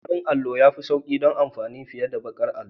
Farin allo ya fi sauƙi don amfani fiye da baƙar allo.